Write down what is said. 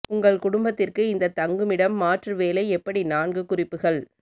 உங்கள் குடும்பத்திற்கு இந்த தங்குமிடம் மாற்று வேலை எப்படி நான்கு குறிப்புகள்